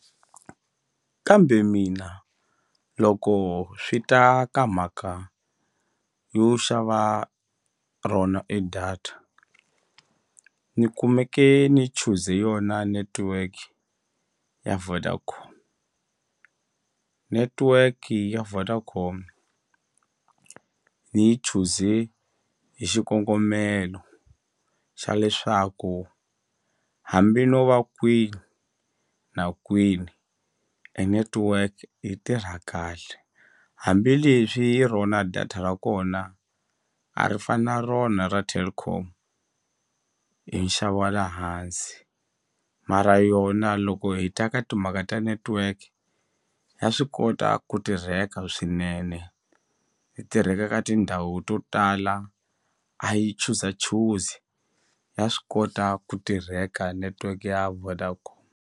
Kambe mina loko swi ta ka mhaka yo xava rona e data ni kumeke ni chuze yona network ya Vodacom netiweki ya Vodacom ni yi chuze hi xikongomelo xa leswaku hambi no va kwini na kwini e netiweke yi tirha kahle hambileswi rona data ra kona a ri fani na rona ra Telkom hi nxavo wa le hansi mara yona loko hi ta ka timhaka ta network ya swi kota ku tirheka swinene yi tirheka ka tindhawu to tala a yi chuzachuzi ya swi kota ku tirheka network ya Vodacom.